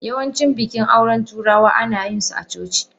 Yawancin bikin auren turawa ana yin su a coci.